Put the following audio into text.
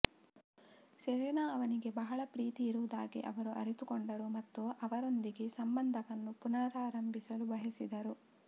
Selena ಅವನಿಗೆ ಬಹಳ ಪ್ರೀತಿಯಿರುವುದಾಗಿ ಅವರು ಅರಿತುಕೊಂಡರು ಮತ್ತು ಅವರೊಂದಿಗೆ ಸಂಬಂಧವನ್ನು ಪುನರಾರಂಭಿಸಲು ಬಯಸಿದರು